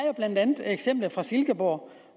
jo blandt andet eksemplet fra silkeborg